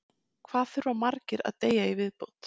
Hvað þurfa margir að deyja í viðbót?